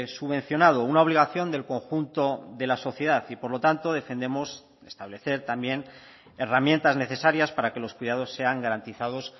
subvencionado una obligación del conjunto de la sociedad y por lo tanto defendemos establecer también herramientas necesarias para que los cuidados sean garantizados